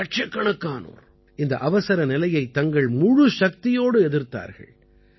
இலட்சக்கணக்கானோர் இந்த அவசரநிலையைத் தங்கள் முழுச்சக்தியோடு எதிர்த்தார்கள்